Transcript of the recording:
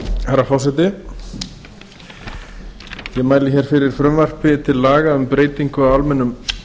herra forseti ég mæli hér fyrir frumvarpi til laga um breytingu á almennum